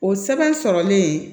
O sɛbɛn sɔrɔlen